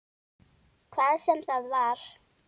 Hvað sem það var.